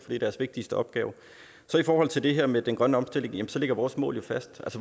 det er deres vigtigste opgave i forhold til det her med den grønne omstilling ligger vores mål jo fast